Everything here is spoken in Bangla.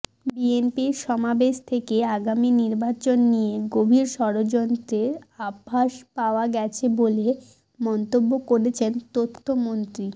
বিএনপির সমাবেশ থেকে আগামী নির্বাচন নিয়ে গভীর ষড়যন্ত্রের আভাস পাওয়া গেছে বলে মন্তব্য করেছেন তথ্যমন্ত্রী